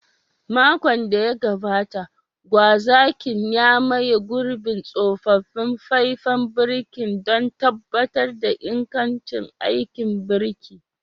Makon da ya gabata, gwazakin ya maye gurbin tsofaffin faifan birki don tabbatar da ingantaccen aikin birki.